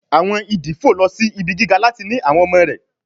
Àwọn ìdí fò lọ sì ibí gíga láti ní àwọn ọmọ rẹ